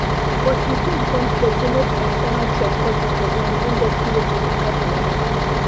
but e soon become clear say no be external threats cause am but na im own desperate political palava